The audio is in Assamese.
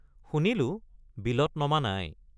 শুনিলো, বিলত নমা নাই।